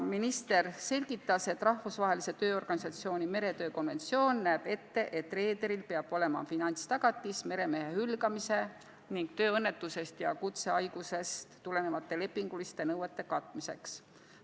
Minister selgitas, et Rahvusvahelise Tööorganisatsiooni meretöö konventsioon näeb ette, et reederil peab olema finantstagatis meremehe hülgamisest ning tööõnnetusest ja kutsehaigusest tulenevate lepinguliste nõuete katmiseks.